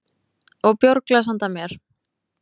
Og bjórglas handa mér.